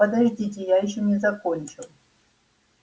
подождите я ещё не закончил